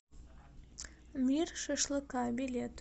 мир шашлыка билет